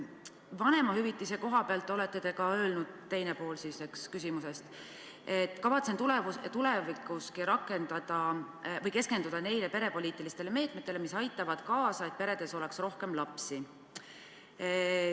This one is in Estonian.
Vanemahüvitise kohta te olete öelnud – see on teine pool küsimusest –, et kavatsete tulevikuski keskenduda nendele perepoliitilistele meetmetele, mis aitavad kaasa, et peredes oleks rohkem lapsi.